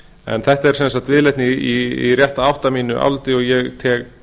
en þetta er sem sagt viðleitni í rétta átt að mínu áliti og ég